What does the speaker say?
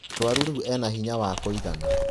Mũrũaru rĩũ ena hinya wakũigana.